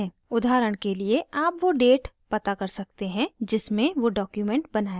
उदाहरण के लिए आप वो date पता कर सकते हैं जिसमें वो document बनाया गया था